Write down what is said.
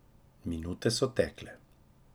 Minute so tekle.